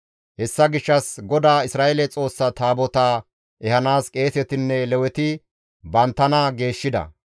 Hessa gishshas GODAA Isra7eele Xoossa Taabotaa ehanaas qeesetinne Leweti banttana geeshshida.